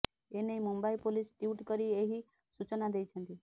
ଏନେଇ Mumbai police tweet କରି ଏହି ସୂଚନା ଦେଇଛନ୍ତି